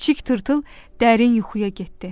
Kiçik tırtıl dərin yuxuya getdi.